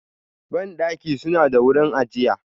Bandaki suna da wurin ajiya.